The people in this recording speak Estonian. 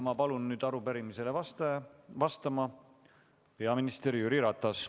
Ma palun nüüd arupärimisele vastama peaminister Jüri Ratase.